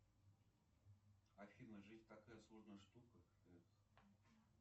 афина жизнь такая сложная штука